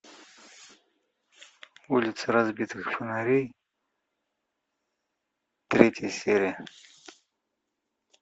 улицы разбитых фонарей третья серия